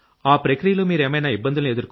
ఆ ప్రక్రియలో మీరేమైనా ఇబ్బందుల్ని